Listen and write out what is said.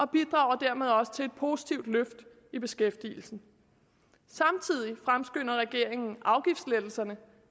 bidrager dermed også til et positivt løft i beskæftigelsen samtidig fremskynder regeringen afgiftslettelserne